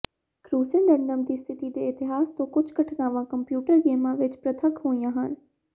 ਕਰੂਸੇਡੰਡਸ ਦੀ ਸਥਿਤੀ ਦੇ ਇਤਿਹਾਸ ਤੋਂ ਕੁਝ ਘਟਨਾਵਾਂ ਕੰਪਿਊਟਰ ਗੇਮਾਂ ਵਿਚ ਪ੍ਰਤੱਖ ਹੋਈਆਂ ਸਨ